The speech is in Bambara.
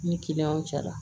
Ni kiliyanw cɛla